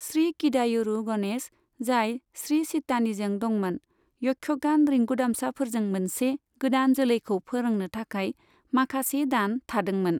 श्री किदायुरु गणेश, जाय श्री चित्तानीजों दंमोन, यक्षगान रिंगुदामसाफोरजों मोनसे गोदान जोलैखौ फोरोंनो थाखाय माखासे दान थादोंमोन।